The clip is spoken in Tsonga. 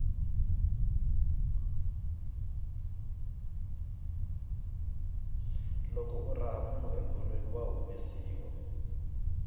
loko u raha munhu ebolweni wa humesiwa